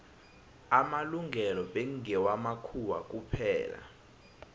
amalungelo bekngewa makhuwa kuphela